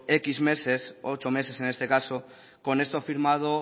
décimo meses ocho meses en este caso con esto firmado